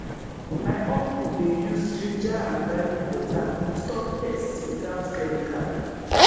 my uncle dey use ginger and garlic water stop pest without chemical